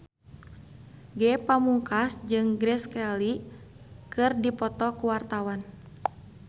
Ge Pamungkas jeung Grace Kelly keur dipoto ku wartawan